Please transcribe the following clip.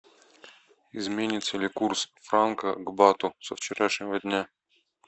изменится ли курс франка к бату со вчерашнего дня